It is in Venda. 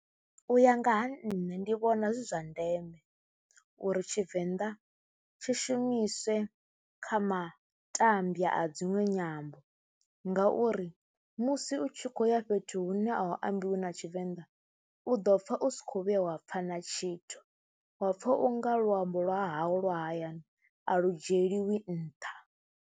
U ya nga ha nṋe ndi vhona zwi zwa ndeme uri Tshivenḓa tshi shumiswe kha matambwa a dziṅwe nyambo ngauri mu musi u tshi khou ya fhethu hune a u ambiwi na Tshivenda u ḓo pfha u si khou vhuya wa pfha na tshithu, wa pfha u nga luambo lwa hawu lwa hayani a lu dzhielwi nṱha.